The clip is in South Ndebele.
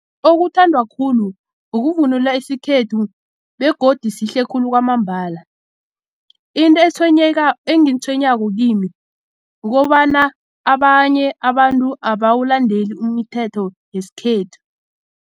Okuthandwa khulu ukuvunula isikhethu begodu sihle khulu kwamambala into engitshwenyako kimi kukobana abanye abantu abawulandeli umthetho wesikhethu.